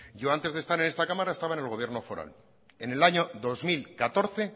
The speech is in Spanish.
yo antes de estar en esta cámara estaba en el gobierno foral en el año dos mil catorce